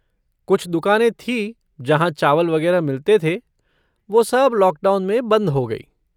कुछ दुकानें थीं जहाँ चावल वगैरह मिलते थे, वो सब लॉकडाउन में बंद हो गईं।